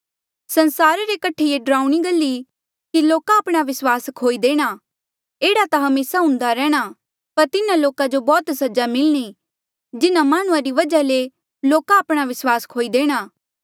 संसारा रे कठे ये डरावणी गल ई कि लोका आपणा विस्वास खोई देणा एह्ड़ा ता हमेसा हुन्दा रैंह्णां पर तिन्हा लोका जो बौह्त सजा मिलणी जिन्हां माह्णुंआं री वजहा ले लोका आपणा विस्वास खोई देणा